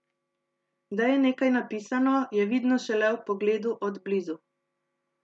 Da je nekaj napisano, je vidno šele ob pogledu od blizu.